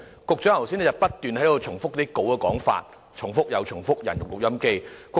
局長剛才不斷重複講稿內容，猶如"人肉錄音機"。